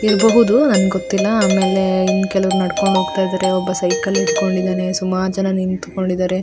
ಇರ್ಬಹುದು ನಂಗ್ ಗೊತ್ತಿಲ್ಲ ಆಮೇಲೆ ಇನ್ ಕೆಲವ್ರು ನಡ್ಕೊಂಡು ಹೋಗ್ತಾ ಇದ್ದಾರೆ ಒಬ್ಬ ಸೈಕಲ್ ಹಿಡ್ಕೊಂಡಿದ್ದಾನೆ ಸುಮಾರ್ ಜನ ನಿಂತ್ ಕೊಂಡಿದ್ದಾರೆ --